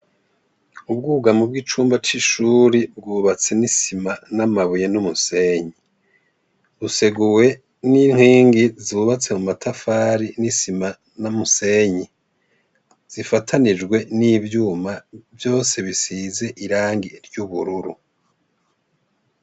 Ubwugamo bw'icumba c'ishuri, bwubatse n'isima n'amabuye n'umusenyi. Buseguwe n'inkingi zubatse mu matafari, n'isima n'umusenyi. Zifatanijwe n'ivyuma. Vyose bisize irangi ry'ubururu.